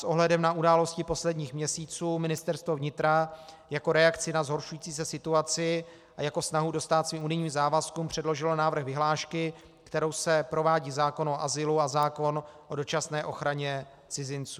S ohledem na události posledních měsíců Ministerstvo vnitra jako reakci na zhoršující se situaci a jako snahu dostát svým unijním závazkům předložilo návrh vyhlášky, kterou se provádí zákon o azylu a zákon o dočasné ochraně cizinců.